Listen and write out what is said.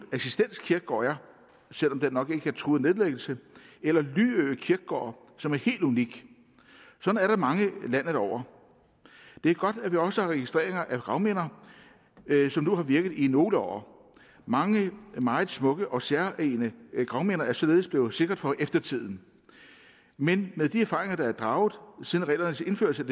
assistens kirkegård er selv om den nok ikke er truet af nedlæggelse eller lyø kirkegård som er helt unik sådan er der mange landet over det er godt at vi også har registreringer af gravminder som nu har virket i nogle år mange meget smukke og særegne gravminder er således blevet sikret for eftertiden men med de erfaringer der er draget siden reglernes indførelse